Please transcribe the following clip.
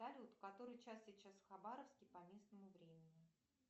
салют который час сейчас в хабаровске по местному времени